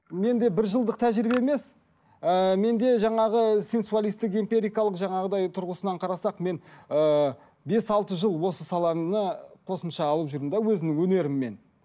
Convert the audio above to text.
менде бір жылдық тәжірибе емес ыыы менде жаңағы сенсуалистік империкалық жаңағындай тұрғысынан қарасақ мен ыыы бес алты жыл осы саланы қосымша алып жүрмін де өзімнің өнеріммен